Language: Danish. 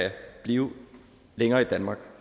blive længere i danmark